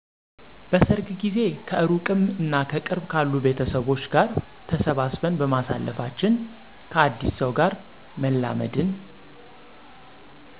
በሰርግ ጊዜ ከእሩቅም እና ከቅርብ ካሉ ቤተሰቦች ጋር ተሰባስበን በማሳለፋችን፣ ከአዲስ ሰው ጋር መላመድን